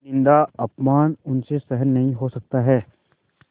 निन्दाअपमान उनसे सहन नहीं हो सकता है